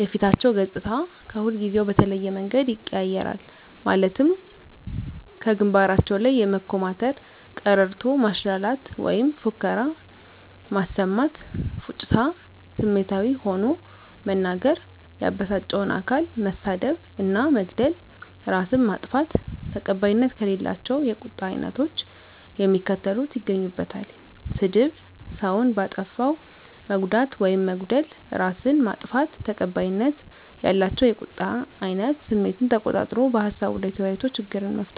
የፊታቸው ገፅታ ከሁልጊዜው በተለየ መንገድ ይቀያየራል ማለትም ከግንባራቸው ላይ የመኮማተር፤ ቀረርቶ ማሽላላት ወይም ፉከራ ማሰማት፤ ፉጭታ፤ ስሜታዊ ሆኖ መናገር፤ ያበሳጫቸውን አካል መሳደብ እና መግደል፤ እራስን ማጥፋት። ተቀባይነት ከሌላቸው የቁጣ አይነቶች የሚከተሉት ይገኙበታል -ስድብ፤ ሰውን በአጠፋው መጉዳት ውይም መግደል፤ እራስን ማጥፋት። ተቀባይነት ያላቸው የቁጣ አይነት ስሜትን ተቆጣጥሮ በሀሳቡ ላይ ተወያይቶ ችግርን መፍታት።